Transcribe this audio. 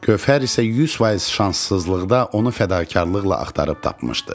Gövhər isə 100% şanssızlıqda onu fədakarlıqla axtarıb tapmışdı.